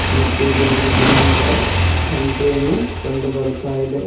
ಮತ್ತು ಇಲ್ಲಿ ಒಂದು ಗಿಡ ಮರದ ಪಂಟೆಯನ್ನು ಕಂಡು ಬರುತ್ತಾ ಇದೆ.